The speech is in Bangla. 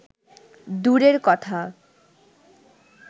দূরের কথা